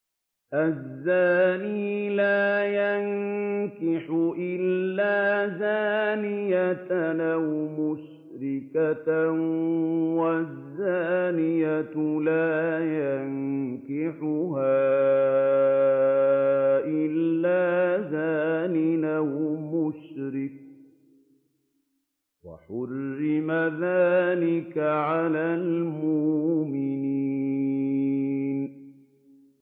الزَّانِي لَا يَنكِحُ إِلَّا زَانِيَةً أَوْ مُشْرِكَةً وَالزَّانِيَةُ لَا يَنكِحُهَا إِلَّا زَانٍ أَوْ مُشْرِكٌ ۚ وَحُرِّمَ ذَٰلِكَ عَلَى الْمُؤْمِنِينَ